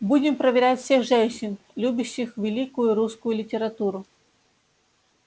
будем проверять всех женщин любящих великую русскую литературу